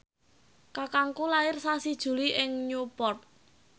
kakangku lair sasi Juli ing Newport